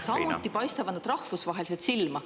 Samuti paistavad nad rahvusvaheliselt silma.